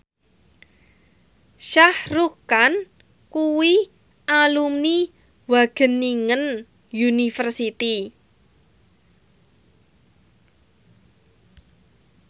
Shah Rukh Khan kuwi alumni Wageningen University